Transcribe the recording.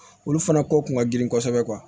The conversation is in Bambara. Olu fana ko kun ka girin kosɛbɛ